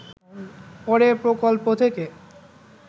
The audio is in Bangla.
পরে প্রকল্প থেকে